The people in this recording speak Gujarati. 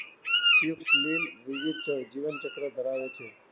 લીલ દ્વિવિધ જીવનચક્ર ધરાવે છે.